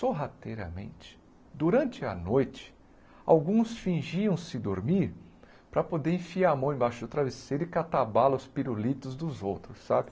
Sorrateiramente, durante a noite, alguns fingiam-se dormir para poder enfiar a mão embaixo do travesseiro e catar bala os pirulitos dos outros, sabe?